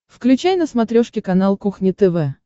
включай на смотрешке канал кухня тв